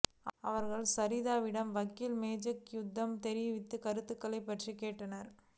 அவர்கள் சரிதாவிடம் வக்கீல் ஜேக்கப் மாத்யூ தெரிவித்த கருத்துக்கள் பற்றி கேட்டனர்